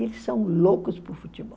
E eles são loucos por futebol.